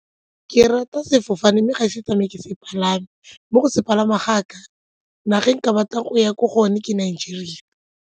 Ke rata sefofane mme ga e se ke tsamaya ke se palama, mo go se palameng ga ka naga e nka batla go ya ko go yone ke Nigeria.